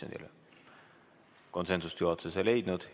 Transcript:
Ent konsensust juhatuses ei leitud.